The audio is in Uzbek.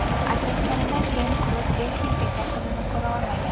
Ajrashganidan keyin Kruz besh yilgacha qizini ko‘ra olmagan.